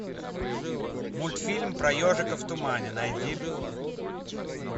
мультфильм про ежика в тумане найди